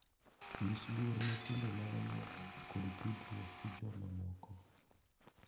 Nyis luor ne timbe mag anyuolau kod tudruok gi jomamoko.